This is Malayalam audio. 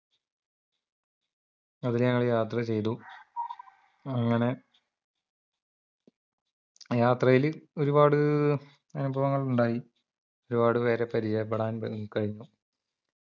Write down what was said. അതില് ഞങ്ങള് യാത്രചെയ്തു അങ്ങനെ യാത്രയില് ഒരുപാട് അനുഭവങ്ങൾ ഉണ്ടായി ഒരുപാടുപേരെ പരിചയപ്പെടാൻ വേ കഴിഞ്ഞു